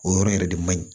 O yɔrɔ yɛrɛ de man ɲi